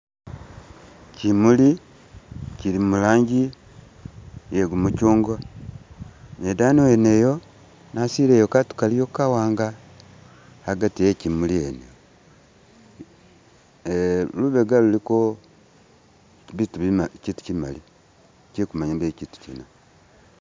Kyimuli kyili muranji iye gumukyungwa ,ne edani wene eyo nasile katu kaliyo kawanga agati e'kyimuli wene, ne kubega luliko bitu bima kyitu bimali ,ikyi'kumanya be kyitu kyina